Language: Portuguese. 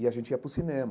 E a gente ia para o cinema.